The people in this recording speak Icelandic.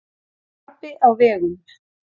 Krapi á vegum